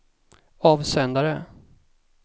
avsändare